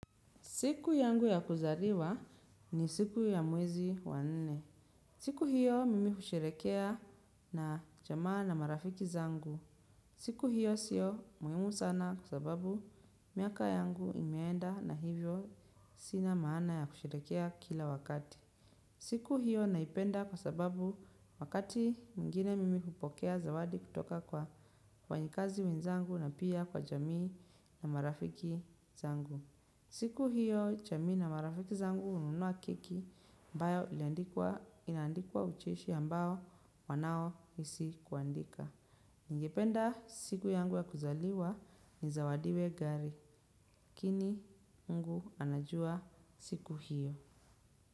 Siku yangu ya kuzaliwa ni siku ya mwezi wa nne. Siku hiyo mimi husherehekea na jamaa na marafiki zangu. Siku hiyo sio muhimu sana kwa sababu miaka yangu imeenda na hivyo sina maana ya kusherehekea kila wakati. Siku hiyo naipenda kwa sababu wakati mwingine mimi hupokea zawadi kutoka kwa wafanyikazi wenzangu na pia kwa jamii na marafiki zangu. Siku hiyo, jamii na marafiki zangu hununua keki, ambayo inaandikwa ucheshi ambao wanao hisi kuandika. Ningependa siku yangu ya kuzaliwa nizawadiwe gari, lakini mngu anajua siku hiyo.